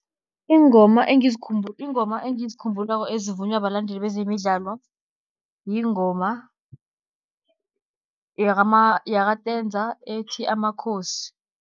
Iingoma iingoma engizikhumbulako ezivunywa balandeli bezemidlalo, yingoma yaka-Tenza ethi amakhosi.